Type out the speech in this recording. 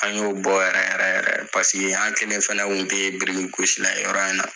An y'o bɔ yɛrɛ yɛrɛ yɛrɛ paseke an kelen fana tun tɛ biriki gosi la ye yɔrɔ in na.